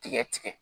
Tigɛ tigɛ